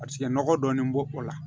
Paseke nɔgɔ dɔɔnin b'o o la